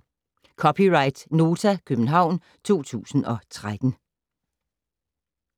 (c) Nota, København 2013